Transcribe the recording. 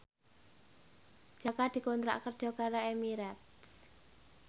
Jaka dikontrak kerja karo Emirates